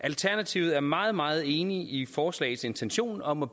alternativet er meget meget enige i forslagets intention om at